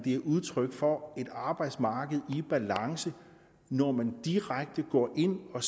er udtryk for et arbejdsmarked i balance når man direkte går ind og